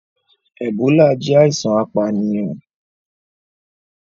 Ebola jẹ aisan apaniyan.